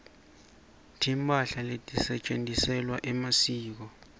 timphahla letisetjentisewa emasiko